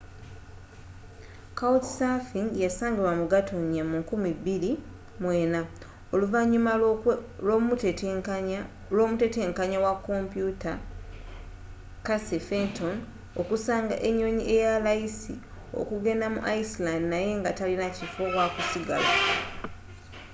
couchsurfing yasangibwa mu gatonnya 2004 oluvanyuma lw'omutetenkanya wa komputa casey fenton okusanga enyonyi eyalayisi ookugenda mu iceland naye nga talina kifo wakusigala